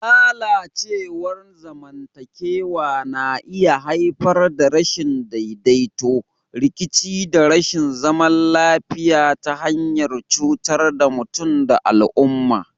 Lalacewar zamantakewa na iya haifar da rashin daidaito, rikici da rashin zaman lafiya ta hanyar cutar da mutum da al'umma.